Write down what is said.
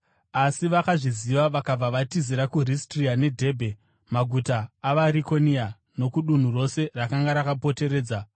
Asi vakazviziva vakabva vatizira kuRistira neDhebhe maguta avaRikonia nokudunhu rose rakanga rakapoteredza,